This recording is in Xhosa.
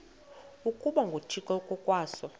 ukuba nguthixo ngokwaso